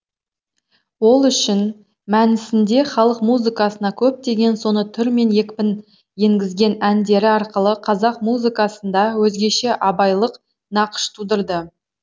ол үшін мәнісінде халық музыкасына көптеген соны түр мен екпін енгізген әндері арқылы қазақ музыкасында өзгеше абайлық нақыш тудырды